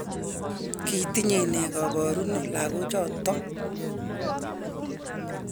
kitinyei nee kaboruno lagochotok?